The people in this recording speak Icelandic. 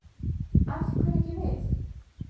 Af hverju ekki við?